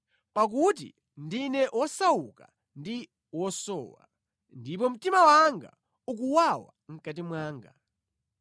Pakuti ndine wosauka ndi wosowa, ndipo mtima wanga ukuwawa mʼkati mwanga.